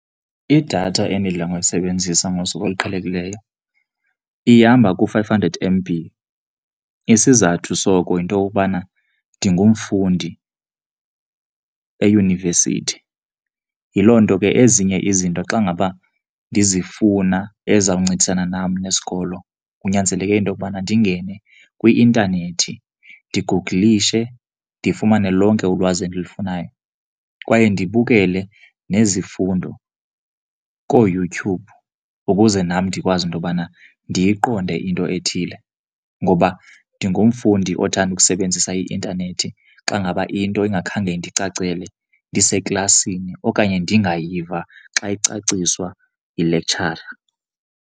Idatha endidla ngoyisebenzisa ngosuku oluqhelekileyo ihamba ku-five hundred M_B. Isizathu soko yinto yokokubana ndingumfundi eyunivesithi, yiloo nto ke ezinye izinto xa ngaba ndizifuna ezizawuncedisana nam nesikolo kunyanzeleke into yokubana ndingene kwi-intanethi, ndiguglishe ndifumane lonke ulwazi endilufunayo. Kwaye ndibukele nezifundo kooYouTube ukuze nam ndikwazi into yobana ndiyiqonde into ethile ngoba ndingumfundi othanda ukusebenzisa i-intanethi xa ngaba into ingakhange indicacele ndiseklasini okanye ndingayiva xa icaciswa yilektshara.